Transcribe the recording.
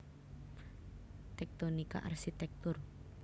Tektonika Arsitektur